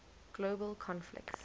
global conflicts